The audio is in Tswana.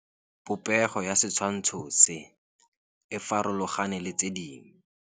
Popêgo ya setshwantshô se, e farologane le tse dingwe.